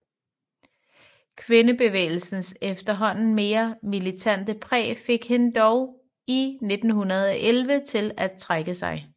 Kvindebevægelsens efterhånden mere militante præg fik hende dog i 1911 til at trække sig